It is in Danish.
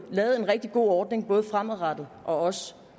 lavet en rigtig god ordning både fremadrettet og